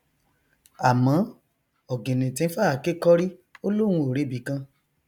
àmọ ọgìnìntìn fàáké kọrí ó lóun ò rebìkan